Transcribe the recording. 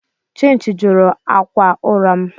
Chinchi juru akwa ụra m.